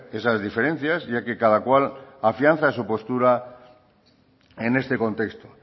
esas diferencias ya que cada cual afianza su postura en este contexto